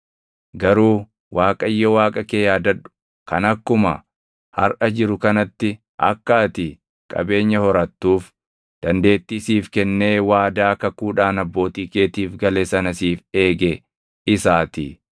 Garuu Waaqayyo Waaqa kee yaadadhu; kan akkuma harʼa jiru kanatti akka ati qabeenya horattuuf dandeettii siif kennee waadaa kakuudhaan abbootii keetiif gale sana siif eege isaatii.